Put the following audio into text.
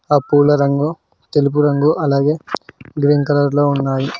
ఆ పూలరంగు తెలుపు రంగు అలాగే గ్రీన్ కలర్ లో ఉన్నాయి.